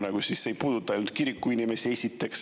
Aga see ei puuduta ainult kiriku inimesi.